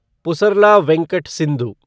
Pusarla Venkata Sindhu